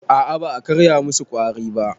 A a ba a karya musu ƙwari ba.